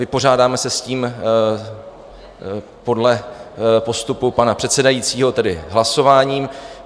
Vypořádáme se s tím podle postupu pana předsedajícího, tedy hlasováním.